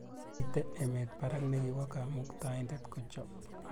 Mmiten emet barak nekiwo kamuktaindet kochab